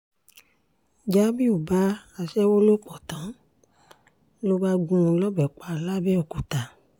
jamiu bá aṣẹ́wó lò pọ̀ tán ló bá gún un lọ́bẹ̀ pa làbẹ̀òkúta